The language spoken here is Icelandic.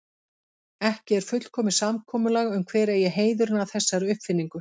Ekki er fullkomið samkomulag um hver eigi heiðurinn að þessari uppfinningu.